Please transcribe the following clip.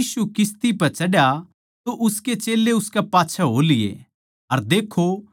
जिब यीशु किस्ती पै चढ्या तो उसके चेल्लें उसकै पाच्छै हो लिए